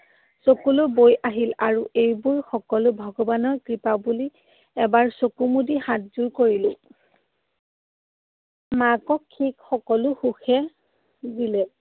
চকুলো বৈ আহিল। আৰু এইবোৰ সকলো ভগৱানৰ কৃপা বুলি এবাৰ চকু মুদি হাতযোৰ কৰিলো। মাকক সি সকলো সুখেই দিলে।